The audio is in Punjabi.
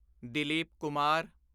ਦਿਲੀਪ ਕੁਮਾਰ